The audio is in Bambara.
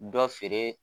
Dɔ feere